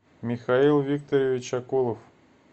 михаил викторович акулов